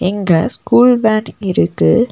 இங்க school van இருக்கு.